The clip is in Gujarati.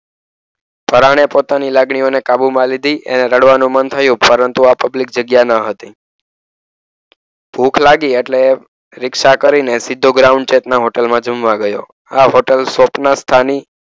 પરાણે પોતાની લાગણીઓને કાબુમાં લીધી. એણે રડવાનું બંધ થયું. પરંતુ આ પબ્લિક જગ્યા ન હતી. ભૂખ લાગી એટલે પરીક્ષા કરીને સીધો ગ્રાઉન્ડ ચેક ના હોટલમાં જમવા ગયો. આ હોટલ સ્વપ્નસ્થાની,